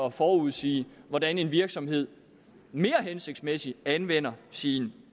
at forudsige hvordan en virksomhed mere hensigtsmæssigt anvender sin